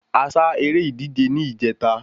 A ṣá eré ìdíje ni ìjẹta